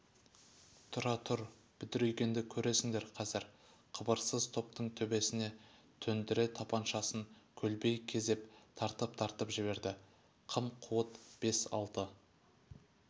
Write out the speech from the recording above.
тұра тұр бедірейгенді көресіңдер қазір қыбырсыз топтың төбесіне төндіре тапаншасын көлбей кезеп тартып-тартып жіберді қым-қуыт бес-алты